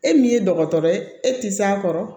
E min ye dɔgɔtɔrɔ ye e tɛ s'a kɔrɔ